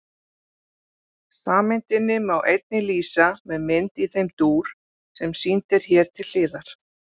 Sameindinni má einnig lýsa með mynd í þeim dúr sem sýnd er hér til hliðar.